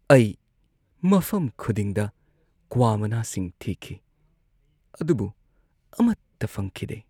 ꯑꯩ ꯃꯐꯝ ꯈꯨꯗꯤꯡꯗ ꯀ꯭ꯋꯥ ꯃꯅꯥꯁꯤꯡ ꯊꯤꯈꯤ ꯑꯗꯨꯕꯨ ꯑꯃꯠꯇ ꯐꯪꯈꯤꯗꯦ꯫